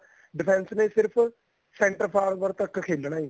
defense ਨੇ ਸਿਰਫ center forward ਤੱਕ ਖੇਲਣਾ ਜੀ